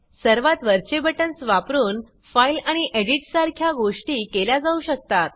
सर्वात वरचे बटन्स वापरुन फाइल आणि एडिट सारख्या गोष्टी केल्या जाऊ शकतात